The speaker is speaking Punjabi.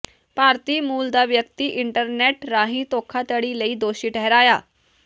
ਭਾਰਤੀ ਮੂਲ ਦਾ ਵਿਅਕਤੀ ਇੰਟਰਨੈੱਟ ਰਾਹੀਂ ਧੋਖਾਧੜੀ ਲਈ ਦੋਸ਼ੀ ਠਹਿਰਾਇਆ